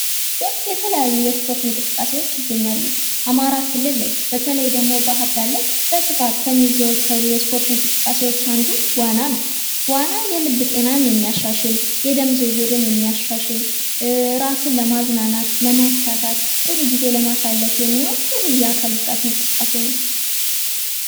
ኢትዮጵያ ውስጥ የተለያዩ ስፖርት አይነቶች ይገኛሉ :: አማራ ክልል ላይ ደግሞ ባህርዳር ላይ በስፋት ከሚዘወትሩ የስፖርት እንቅስቃሴዎች አንዱ ዋና